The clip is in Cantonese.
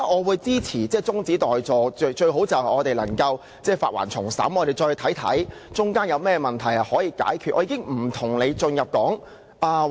我支持中止待續議案，最好能將《條例草案》撤回並重新審議，讓議員檢視當中可以解決的問題。